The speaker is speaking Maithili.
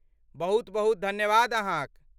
बहुत बहुत धन्यवाद अहाँक।